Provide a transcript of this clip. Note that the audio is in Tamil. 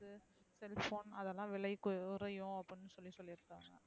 Cellphone அதெல்லாம் விலை குறையும் அப்டினு சொல்லி சொல்லிருகாங்க.